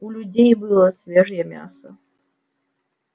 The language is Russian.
у людей было свежее мясо